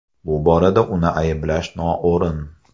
Bu borada uni ayblash noo‘rin.